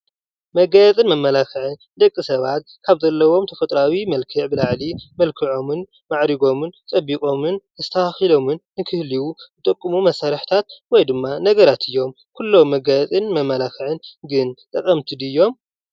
መጋየፅን መመላክዕን ደቂ ሰባት ካብ ዘለዎም መልክዕ ብላዕሊ መልኪዖምን ማዕሪጎምን ፅቢቆምን ተስተካኪሎም ንክህልዩ ዝጥቅሙ መሳርሕታት ወይ ድማ ነገራት እዮም ። ኩሎም መጋየጽን መመላክዕን ግን ጠቀምቲ ድዮም?